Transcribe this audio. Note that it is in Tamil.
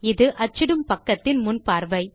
இது அச்சிடும் பக்கத்தின் முன் பார்வை